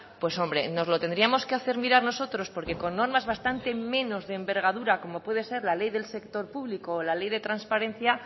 pues hombre nos lo tendríamos hacer mirar nosotros porque con normas bastante menos de envergadura como puede ser las ley del sector público o la ley de transparencia